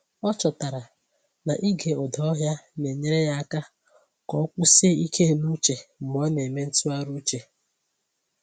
Ọ chọtara na ịge ụda ọhịa na-enyere ya aka ka o kwụsie ike n’uche mgbe ọ na-eme ntụgharị uche.